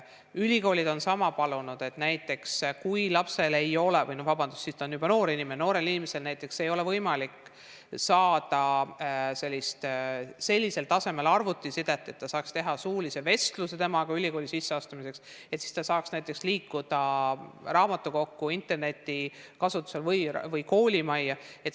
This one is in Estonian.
Ülikoolid on sama palunud, et näiteks kui lapsel ei ole – vabandust, ta on juba noor inimene –, noorel inimesel ei ole võimalik sellisel tasemel arvutiside, et saaks teha suulise vestluse temaga ülikooli sisseastumiseks, siis ta saaks näiteks liikuda raamatukokku või koolimajja interneti kasutamiseks.